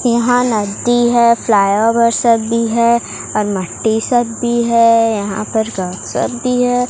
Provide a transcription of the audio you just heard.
यहां नदी है फ्लाई ओवर सब भी है और मिट्टी सब भी है यहां पर घास सब भी है।